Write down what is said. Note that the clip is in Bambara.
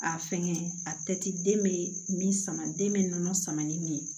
A fɛnkɛ a tɛ den bɛ min sama den bɛ nɔnɔ sama ni min ye